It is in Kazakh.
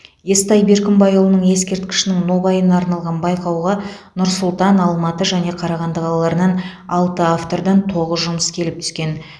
естай беркімбайұлының ескерткішінің нобайына арналған байқауға нұр сұлтан алматы және қарағанды қалаларынан алты автордан тоғыз жұмыс келіп түскен